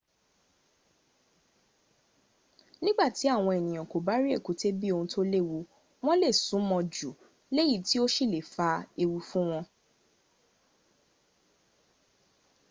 nígbàtí àwọn ènìyàn kò bá rí èkúté bí ohun tó léwu wọ́n lè sún mọ́ ọn jù léyìí tó sì le fa ewu fún wọn